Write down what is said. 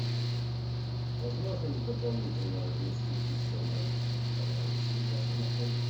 возможно ли дополнительно разместить еще моих товарищей в вашем отеле